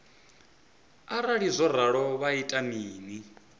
arali zwo ralo vha ita mini